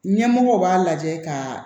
Ɲɛmɔgɔ b'a lajɛ ka